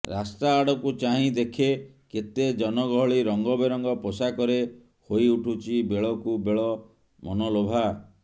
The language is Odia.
ରାସ୍ତାଆଡ଼କୁ ଚାହିଁ ଦେଖେ କେତେ ଜନଗହଳି ରଙ୍ଗବେରଙ୍ଗ ପୋଷାକରେ ହୋଇ ଉଠୁଛି ବେଳକୁ ବେଳ ମନଲୋଭା